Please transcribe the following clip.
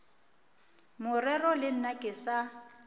morero le nna ke sa